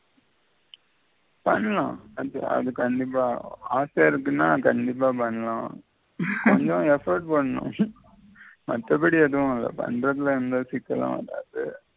பண்ணலாம் அது கண்டிப்பா ஆசையா இருக்கின்னா கண்டிப்பா பண்ணலாம் கொஞ்சம் effect பண்ணனும் மற்ற படி எதும் ஆகாது பண்றதுல எந்த சிக்கலும் வராது